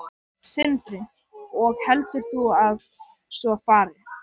Sindri: Og heldur þú að svo fari?